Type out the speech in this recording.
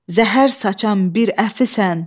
Zəhər saçan bir əfisən,